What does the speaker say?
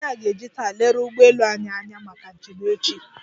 Ịnjinịa ga-eji taa leruo ụgbọelu anyị anya maka njem echi.